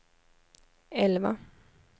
elva